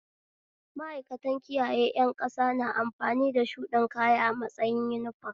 Ma'aikanta kiyaye ƴan ƙasa na amfani da shuɗin kaya a matsayin uniform